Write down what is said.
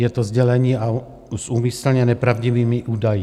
Je to sdělení s úmyslně nepravdivými údaji.